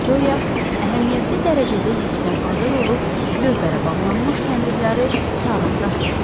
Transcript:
Viktoriya əhəmiyyətli dərəcədə yükdən azad olub lövbərə bağlanmış kəndirləri tarım dartdı.